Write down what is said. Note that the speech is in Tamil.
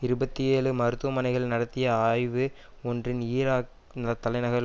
இருபத்தி ஏழு மருத்தவமனைகள் நடத்திய ஆய்வு ஒன்றின் ஈராக்த் தலைநகரில்